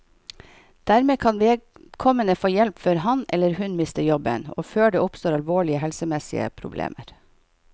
Dermed kan vedkommende få hjelp før han, eller hun, mister jobben og før det oppstår alvorlige helsemessige problemer.